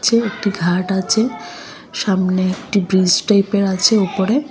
এ একটি ঘাট আচে সামনে একটি ব্রিজ টাইপের আচে উপরে।